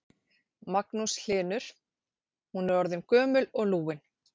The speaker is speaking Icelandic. Magnús Hlynur: Hún er orðin gömul og lúin?